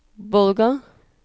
Bolga